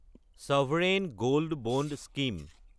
sovereign gold bond scheme